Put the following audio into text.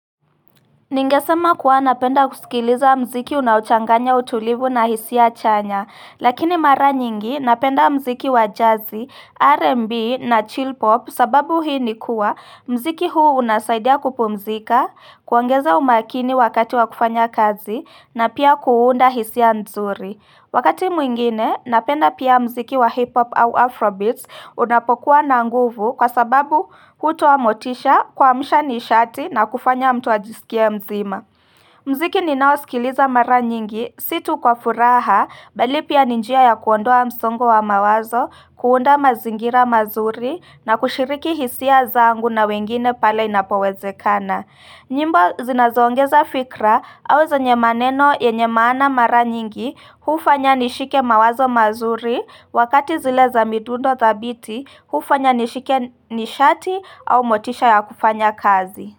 Ningesema kuwa napenda kusikiliza muziki unaochanganya utulivu na hisia chanya, lakini mara nyingi napenda muziki wa jazzi, rnb, na chill pop, sababu hii ni kuwa muziki huu unasaidia kupumzika, kuongeza umakini wakati wa kufanya kazi na pia kuunda hisia nzuri. Wakati mwingine, napenda pia muziki wa hip-hop au afrobeats unapokuwa na nguvu kwa sababu hutoa motisha, kuamsha nishati na kufanya mtu ajisikie mzima. Muziki ninaosikiliza mara nyingi, si tu kwa furaha, bali pia ni njia ya kuondoa msongo wa mawazo, kuunda mazingira mazuri na kushiriki hisia zangu na wengine pale inapowezekana. Nyimbo zinazoongeza fikra au zenye maneno yenye maana mara nyingi hufanya nishike mawazo mazuri wakati zile za midundo thabiti hufanya nishike nishati au motisha ya kufanya kazi.